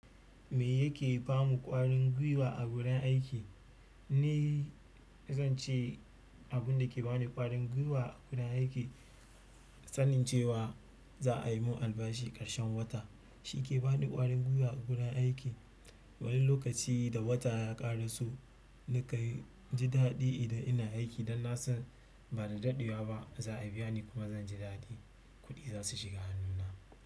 Me yake ba mu ƙwarin gwiwa a gurin aiki? Ni zan ce abun da ke ba ni ƙwarin gwiwa a gurin aiki sanin cewa za a yi mun albashi ƙarshen wata. Shi ke ba ni ƙwarin gwiwa a gudan aiki. Wani lokaci da wata ya ƙare so, ni ka ji daɗi idan ina aiki dan na san ba da daɗewa ba za a biya ni kuma zan ji daɗi kuɗi za su shiga hannu na.